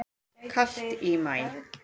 Kalt í maí